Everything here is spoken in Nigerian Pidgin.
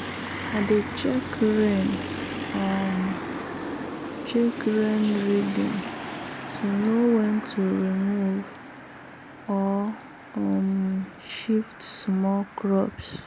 i dey check rain um check rain reading to know when to remove or um shift small crops.